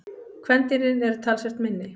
Kvendýrin eru talsvert minni.